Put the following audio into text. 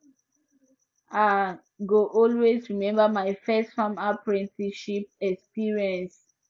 i go always remember my first farm apprenticeship experience